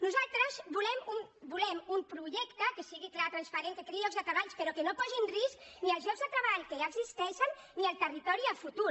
nosaltres volem un projecte que sigui clar transparent que creï llocs de treball però que no posi en risc ni els llocs de treball que ja existeixen ni el territori en el futur